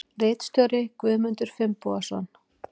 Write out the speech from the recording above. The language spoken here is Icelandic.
Ritstjóri Guðmundur Finnbogason.